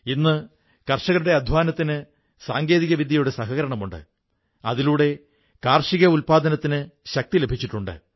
ഇന്ന് കർഷകരുടെ അധ്വാനത്തിന് സാങ്കേതികവിദ്യയുടെ സഹായമുണ്ട് അതിലൂടെ കാർഷിക ഉത്പാദനത്തിന് ശക്തി ലഭിച്ചിട്ടുണ്ട്